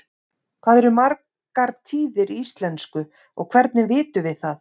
hvað eru margar tíðir í íslensku og hvernig vitum við það